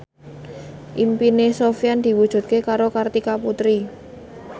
impine Sofyan diwujudke karo Kartika Putri